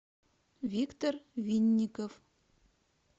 виктор винников